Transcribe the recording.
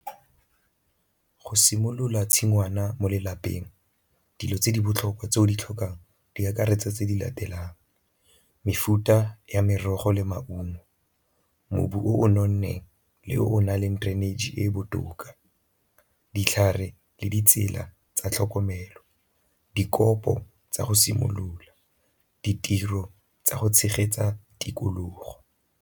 Go simolola tshingwana mo lelapeng, dilo tse di botlhokwa tse o di tlhokang di akaretsa tse di latelang, mefuta ya merogo le maungo, mobu o nonneng le o o na leng drainage e e botoka, ditlhare le ditsela tsa tlhokomelo, dikopo tsa go simolola, ditiro tsa go tshegetsa tikologo.